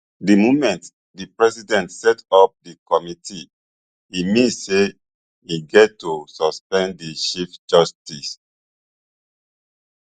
di moment di president set up di committee e mean say im get to suspend di chief justice